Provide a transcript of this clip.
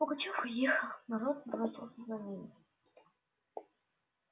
пугачёв уехал народ бросился за ним